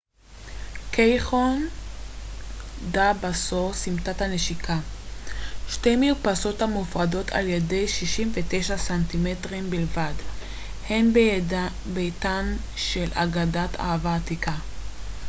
קייחון דה בסו סמטת הנשיקה. שתי מרפסות המופרדות על ידי 69 סנטימטרים בלבד הן ביתן של אגדת אהבה עתיקה